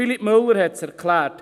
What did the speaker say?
Philippe Müller hat es erklärt.